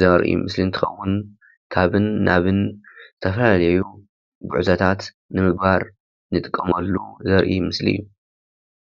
ዘርኢ ምስሊ እንትከውን ካብን ናብን ዝተፈላለዩ ጉዕዞታት ንምግባር ንጥቀመሉ ዘርኢ ምስሊ እዩ።